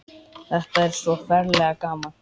Þetta er svo ferlega gaman.